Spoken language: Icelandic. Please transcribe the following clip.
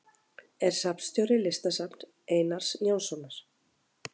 Er safnstjóri Listasafns Einars Jónssonar.